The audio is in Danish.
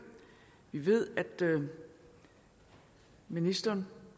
vi ved at ministeren